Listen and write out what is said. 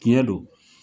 Tiɲɛ don